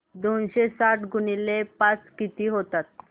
दोनशे साठ गुणिले पाच किती होतात